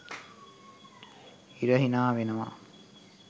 ඉර හිනාවෙනවා